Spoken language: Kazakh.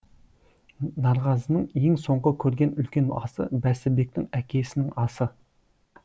нарғазының ең соңғы көрген үлкен асы бәсібектің әкесінің асы